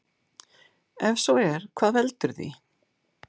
Ef svo er hvað veldur því?